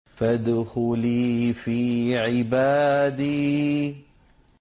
فَادْخُلِي فِي عِبَادِي